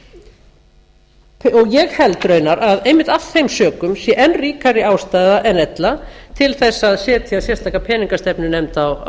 ráða ég held raunar að einmitt af þeim sökum sé enn ríkari ástæða en ella til þess að setja sérstaka peningastefnunefnd á